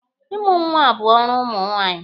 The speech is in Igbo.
Ịmụ nwa bụ ọrụ ụmụ nwaanyị.